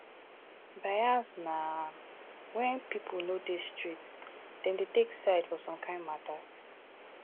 bias na when pipo no dey straight dem dey take side for some kind matters